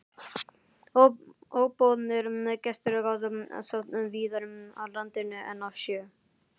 Óboðnir gestir gátu sótt víðar að landinu en á sjó.